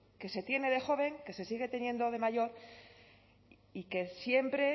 que se tiene de joven que se sigue teniendo de mayor y que siempre